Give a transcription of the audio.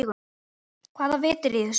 Hvaða vit er í þessu?